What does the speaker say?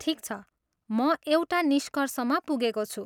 ठिक छ, म एउटा निष्कर्षमा पुगेको छु।